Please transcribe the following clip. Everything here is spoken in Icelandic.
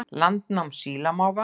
Landnám sílamáfa